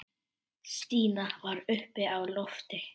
Stína var uppi á lofti.